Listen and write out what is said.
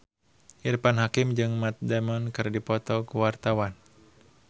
Irfan Hakim jeung Matt Damon keur dipoto ku wartawan